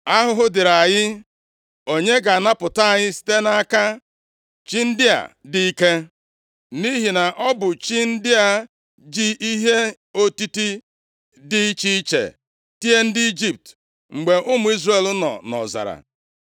+ 4:8 Nʼihi na ndị Filistia e kwenyeghị na Chineke, kama ha kweere na chi arụsị. Ahụhụ dịrị anyị! Onye ga-anapụta anyị site nʼaka chi ndị a dị ike? Nʼihi na ọ bụ chi ndị a ji ihe otiti dị iche iche tie ndị Ijipt mgbe ụmụ Izrel nọ nʼọzara.